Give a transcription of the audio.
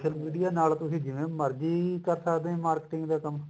social media ਨਾਲ ਤੁਸੀਂ ਜਿਵੇਂ ਮਰਜੀ ਕਰ ਸਕਦੇ ਓ ਤੁਸੀਂ marketing ਦਾ ਕੰਮ